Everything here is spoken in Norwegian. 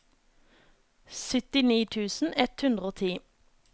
syttini tusen ett hundre og ti